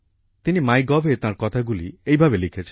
তিনি mygovএ তাঁর কথাগুলি এইভাবে লিখেছেন